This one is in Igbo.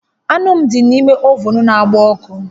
Anụ dị n'ime ovun na-agba ọkụ